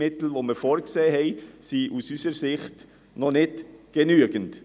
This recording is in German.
Die vorgesehen Mittel sind aus unserer Sicht nicht ausreichend.